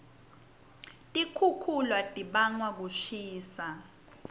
tikixukhula tibangwa kushisa